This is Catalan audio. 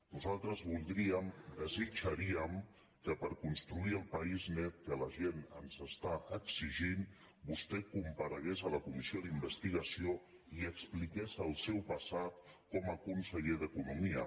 nosaltres vol·dríem desitjaríem que per construir el país net que la gent ens està exigint vostè comparegués a la comissió d’investigació i expliqués el seu passat com a conse·ller d’economia